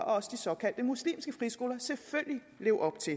også de såkaldte muslimske friskoler selvfølgelig leve op til